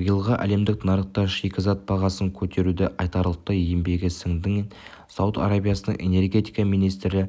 биылғы әлемдік нарықта шикізат бағасын көтеруде айтарлықтай еңбегі сіңген сауд арабиясының энергетика министрі